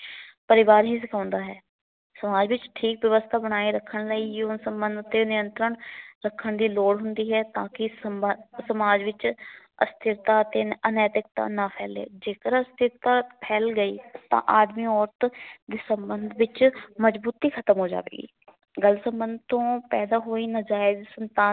ਤਾਂ ਕਿ ਸਮ ਸਮਾਜ ਵਿਚ ਅਸਥਿਰਤਾ ਅਤੇ ਅਨੈਤਿਕਤਾ ਨਾ ਫੈਲ਼ੇ। ਜੇਕਰ ਅਸਥਿਰਤਾ ਫੈਲ ਗਈ ਤਾਂ ਆਦਮੀ ਅੋਰਤ ਦੇ ਸਬੰਧ ਵਿੱਚ ਮਜਬੂਤੀ ਖਤਮ ਹੋ ਜਾਵੇਗੀ। ਗਲਤ ਸਬੰਧ ਤੋਂ ਪੈਦਾ ਹੋਈ ਨਜ਼ਾਇਜ ਸੰਤਾਨ